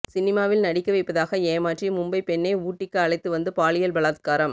சினிமாவில் நடிக்க வைப்பதாக ஏமாற்றி மும்பை பெண்ணை ஊட்டிக்கு அழைத்து வந்து பாலியல் பலாத்காரம்